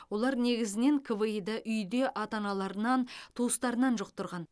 олар негізінен кви ді үйде ата аналарынан туыстарынан жұқтырған